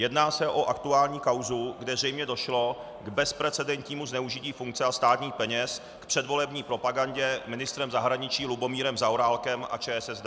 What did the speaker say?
Jedná se o aktuální kauzu, kde zřejmě došlo k bezprecedentnímu zneužití funkce a státních peněz k předvolební propagandě ministrem zahraničí Lubomírem Zaorálkem a ČSSD.